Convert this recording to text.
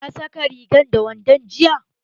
Ka saka rigar da wandon jiya?